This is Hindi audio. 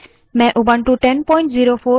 मैं ubuntu 1004 का इस्तेमाल कर रही हूँ